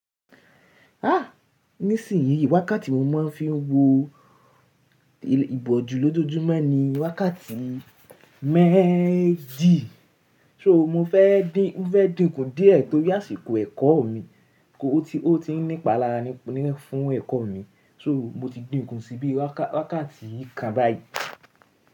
Ah! Nísìnyí wákàtí mo máa ń fi wo ìbòjú lójojúmọ́ ni wákàtí méjì. So mo fẹ́ dín, mo fẹ́ dín ku díẹ̀ torí àsìkò ẹ̀kọ́ mi kó tí ó ti ń nípa lára ni fún ẹ̀kọ́ mi. So mo ti dín ku síbi wákàtí kan báyìí.